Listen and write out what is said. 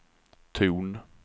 ton